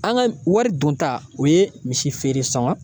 An ka wari don ta o ye misi feere sɔn ka